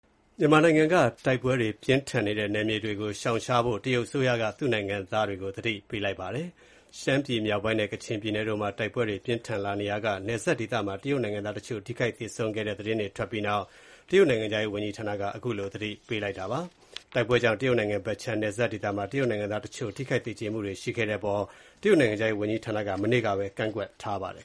မြန်မာနိုင်ငံက တိုက်ပွဲတွေ အပြင်းအထန် ဖြစ်ပွားနေတဲ့ နယ်မြေတွေကို ရှောင်ရှားဖို့ တရုတ်အစိုးရက သူ့နိုင်ငံသားတွေကို သတိပေးလိုက်ပါတယ်။ ရှမ်းပြည်မြောက်ပိုင်းနဲ့ ကချင်ပြည်နယ်တို့မှာ တိုက်ပွဲတွေ ပြင်းထန်လာနေရာက နယ်စပ်ဒေသမှာ တရုတ်နိုင်ငံသားတချို့ ထိခိုက်သေဆုံးတဲ့ သတင်းတွေ ထွက်ခဲ့ပြီးနောက် တရုတ်နိုင်ငံခြားရေး ဝန်ကြီးဌာနက သတိပေးလိုက်တာပါ။ တိုက်ပွဲတွေကြောင့် တရုတ်နိုင်ငံဖက်ခြမ်း နယ်စပ်ဒေသမှာ တရုတ်နိုင်ငံသားတချို့ ထိခိုက်သေကျေမှုတွေ ရှိခဲ့တဲ့အပေါ် တရုတ်နိုင်ငံခြားရေးဝန်ကြီးဌာနက မနေ့ကပဲ ကန့်ကွက်ထားပါတယ်